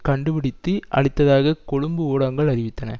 கண்டுபிடித்து அழித்ததாக கொழும்பு ஊடகங்கள் அறிவித்தன